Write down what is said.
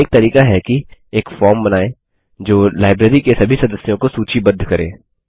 एक तरीका है कि एक फॉर्म बनाएँ जो लाइब्रेरी के सभी सदस्यों को सूचीबद्ध करे